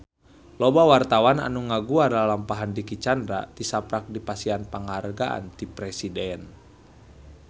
Loba wartawan anu ngaguar lalampahan Dicky Chandra tisaprak dipasihan panghargaan ti Presiden